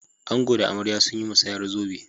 Ango da amarya sun yi musayar zobe.